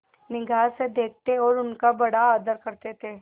निगाह से देखते और उनका बड़ा आदर करते थे